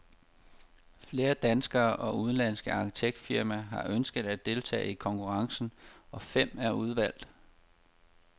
Flere danske og udenlandske arkitektfirmaer har ønsket at deltage i konkurrencen, og fem er udvalgt.